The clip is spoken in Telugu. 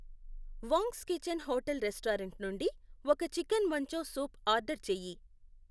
వాంగ్స్ కిచెన్ హోటల్ రెస్టారెంట్ నుండి ఒక చికెన్ మంచౌ సూప్ ఆర్డర్ చేయి